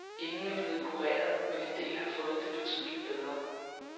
Ingen er blevet kureret, men en del har fået det betydeligt bedre.